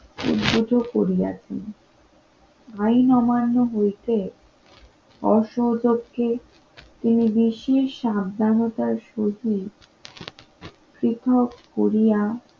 উদ্বুদ্ধ করিয়াছি আইন অমান্য হইতে অসহযোগ্যকে তিনি বিশ্বের সাবধানতার সহিত পৃথক করিয়া